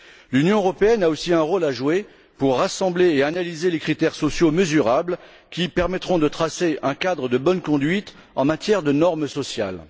L'Union européenne a aussi un rôle à jouer pour rassembler et analyser les critères sociaux mesurables qui permettront de tracer un cadre de bonne conduite en matière de normes sociales.